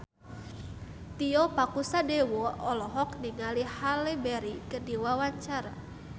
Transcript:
Tio Pakusadewo olohok ningali Halle Berry keur diwawancara